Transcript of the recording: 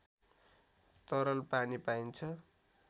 तरल पानी पाइन्छ